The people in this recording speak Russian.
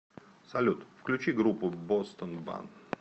салют включи группу бостон бан